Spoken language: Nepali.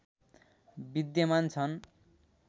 विद्यमान छन्